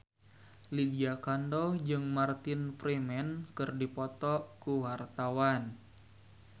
Lydia Kandou jeung Martin Freeman keur dipoto ku wartawan